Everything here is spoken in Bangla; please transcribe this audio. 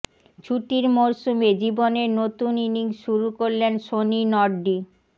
ছুটির মরশুমে জীবনের নতুন ইনিংস শুরু করলেন সোনি নর্ডি